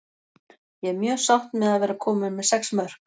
Ég er mjög sátt með að vera komin með sex mörk.